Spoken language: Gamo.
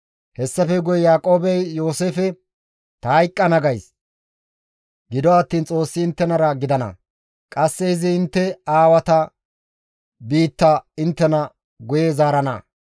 Hessafe guye Yaaqoobey Yooseefe, «Ta hayqqana gays; gido attiin Xoossi inttenara gidana; qasse izi intte aawata biitta inttena guye zaarana.